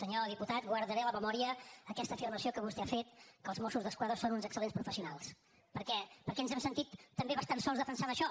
senyor diputat guardaré a la memòria aquesta afirmació que vostè ha fet que els mossos d’esquadra són uns excel·lents professionals perquè ens hem sentit també bastant sols defensant això